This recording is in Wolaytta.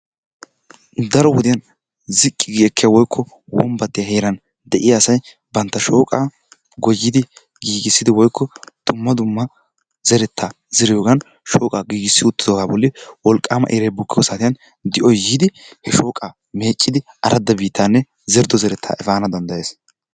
Daro wode ziqqi gi ekkiya woykko wombattiya heeran de'iya asay banta shooqaa goyidi giigisidi woykko dumma dumma zeretaa zeriyogan shooqaa giigissi uttidoogan boli wolqaama iray bukkiyo saatiyan di'oy yoodo he shooqaa meeccidi arada biittaanne zerido zerettaa efaana danddayees.